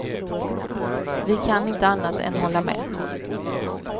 Vi kan inte annat än hålla med.